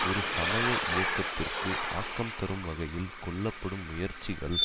ஒரு சமய இயக்கத்திற்கு ஆக்கம் தரும் வகையில் கொள்ளப்படும் முயற்சிகள்